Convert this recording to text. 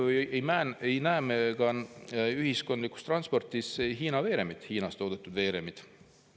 Seetõttu ei näe me ka ühiskondliku transpordi Hiinas toodetud veeremeid.